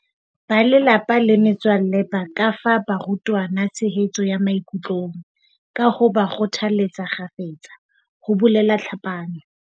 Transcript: Ba lelapa le metswalle ba ka fa barutwana tshehetso ya maikutlong, ka ho ba kgothaletsa kgafetsa, ho bolela Tlhapane.